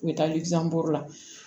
U bɛ taa lizi buru la